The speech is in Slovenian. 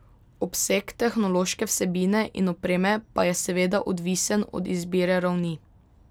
Obseg tehnološke vsebine in opreme pa je seveda odvisen od izbire ravni.